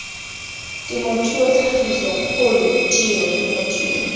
temothuo tlhagiso kgolo tiro temothuo